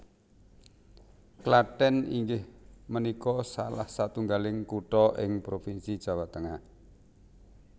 Klathèn inggih menikå salah satunggaling kuthå ing provinsi Jawa Tengah